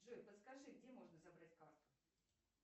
джой подскажи где можно забрать карту